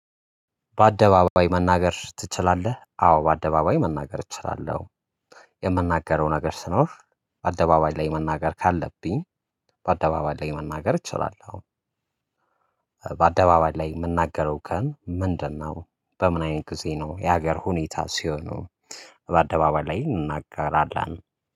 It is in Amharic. በአደባባይ መናገር ትችላለህ? አዎ በአደባባይ መናገር እችላለሁ የምናገረው ነገር ስኖር በአደባባይ ላይ መናገር ካለብኝ በአደባባይ ላይ መናገር እችላለሁ። በአደባባይ ላይ የምናገረው ከን ምንድነው? በምን አይነት ጊዜ ነው የሀገር ሁኔታ ሲሆኑ በአደባባይ ላይ እናገራለን